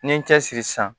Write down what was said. N'i ye n cɛsiri sisan